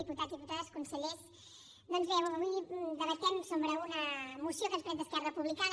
diputats i diputades consellers doncs bé avui debatem una moció que ens presenta esquerra republicana